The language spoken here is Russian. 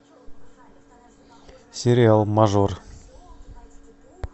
сериал мажор